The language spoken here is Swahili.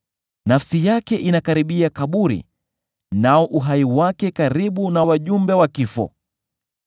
Nafsi yake inakaribia kaburi, nao uhai wake karibu na wajumbe wa kifo.